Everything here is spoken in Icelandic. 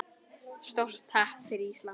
Stórt happ fyrir Ísland